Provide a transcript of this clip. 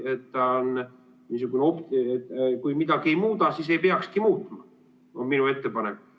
Kui ta on niisugune, et midagi ei muuda, siis ei peakski muutma, on minu ettepanek.